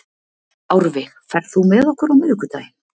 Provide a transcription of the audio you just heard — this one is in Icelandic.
Árveig, ferð þú með okkur á miðvikudaginn?